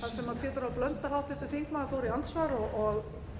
þar sem háttvirtur þingmaður pétur h blöndal fór í andsvar og